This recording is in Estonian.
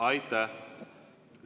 Aitäh!